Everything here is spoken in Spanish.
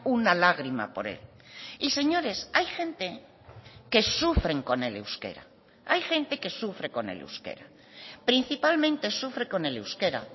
una lágrima por él y señores hay gente que sufren con el euskera principalmente sufre con el euskera